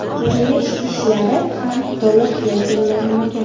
Qurilish ishlari ham to‘liq yakunlanmagan.